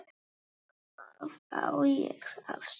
Hvað á ég að sjá?